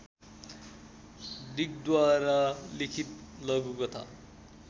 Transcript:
डिकद्वारा लिखित लघुकथा